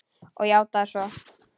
Og játað svo.